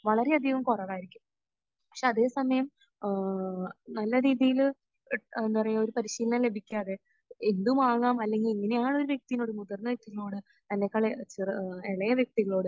വളരെയധികം കുറവായിരിക്കും. പക്ഷെ അതേ സമയം ഏഹ്ഹ്ഹ് നല്ല രീതിയിൽ എഹ് എന്താ പറയാ, ഒരു പരിശീലനം ലഭിക്കാതെ എന്തുമാകാം അല്ലെങ്കിൽ എങ്ങനെയാണ് ഒരു വ്യക്തിയോട് മുതിർന്ന വ്യക്തികളോട് തന്നെക്കാൾ ചെറി...ഇളയ വ്യക്തികളോട്